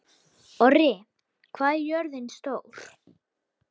Orri, hvað er jörðin stór?